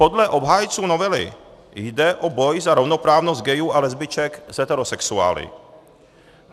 Podle obhájců novely jde o boj za rovnoprávnost gayů a lesbiček s heterosexuály.